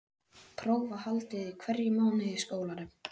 Próf voru haldin í hverjum mánuði í skólanum.